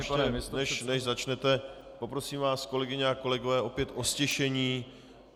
Ještě než začnete, poprosím vás, kolegyně a kolegové, opět o ztišení.